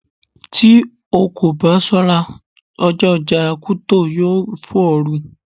Tí o kò bá ṣọ́ra, ọjọ́ ọjà Kuto yó fò ọ́ ru.